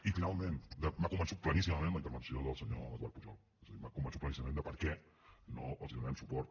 i finalment m’ha convençut pleníssimament la intervenció del senyor eduard pujol és a dir m’ha convençut pleníssimament de per què no els donarem suport